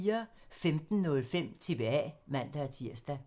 15:05: TBA (man-tir)